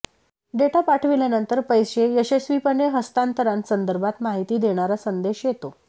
data पाठविल्यानंतर पैसे यशस्वीपणे हस्तांतरणासंदर्भात माहिती देणारा संदेश येतो